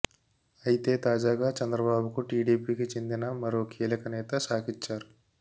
అయితే తాజాగా చంద్రబాబు కు టీడీపీకి చెందిన మరో కీలక నేత షాకిచ్చారు